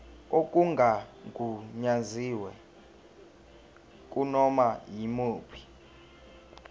okungagunyaziwe kunoma yimuphi